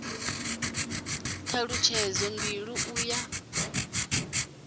t halutshedzo mbili u ya